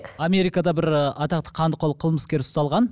америкада бір ы атақты қандықол қылмыскер ұсталған